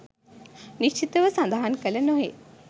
නිශ්චිත ව සඳහන් කළ නොහේ.